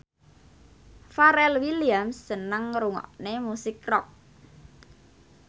Pharrell Williams seneng ngrungokne musik rock